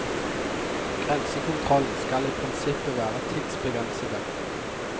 Grensekontrollen skal i prinsippet være tidsbegrensede.